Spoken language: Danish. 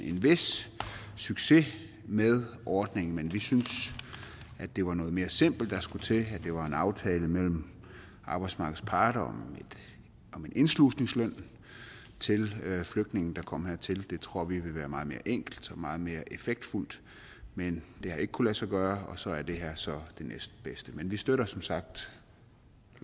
en vis succes med ordningen men vi synes at det var noget mere simpelt der skulle til at det var en aftale mellem arbejdsmarkedets parter om en indslusningsløn til flygtninge der kom hertil det tror vi ville være meget mere enkelt og meget mere effektfuldt men det har ikke kunnet lade sig gøre og så er det her så det næstbedste men vi støtter som sagt